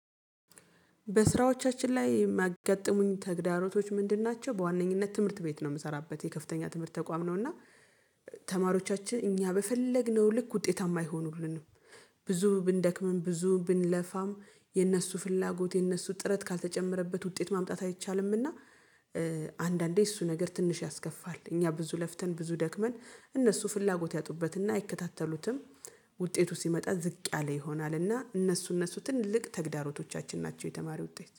በስራዎቻችን ላይ የሚያጋጥሙኝ ተግዳሮቶች ምንድን ናቸው? በዋነኝነት ትምህርት ቤት ነው የምሰራበት የከፍተኛ ትምህርት ተቋም ነው እና ተማሪዎቻችን እኛ በፈለግነው ልክ ውጤታማ አይሆኑልንም። ብዙ ብንደክምም ብዙ ብንለፋም የነሱ ፍላጎት የነሱ ጥረት ካልተጨመረበት ውጤት ማምጣት አይቻልምና። አንዳንዴ እሱ ነገር ትንሽ ያስከፋል። እኛ ብዙ ለፍተን ብዙ ደክመን እነሱ ፍላጎት ያጡበትና አይከታተሉትም። ውጤቱ ሲመጣ ዝቅ ያለ ይሆናልና እነሱ እነሱ ትልቅ ተግዳሮቶቻችን ናቸው። የተማሪ ውጤት